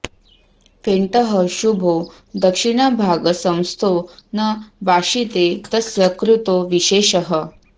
फेण्टः शुभो दक्षिणभागसंस्थो न वाशिते तस्य कृतो विशेषः